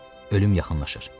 Ölüm yaxınlaşır.